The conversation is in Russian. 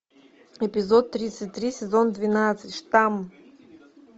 эпизод тридцать три сезон двенадцать штамм